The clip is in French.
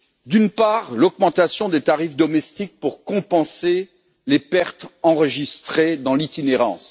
D'une part, l'augmentation des tarifs nationaux pour compenser les pertes enregistrées dans l'itinérance.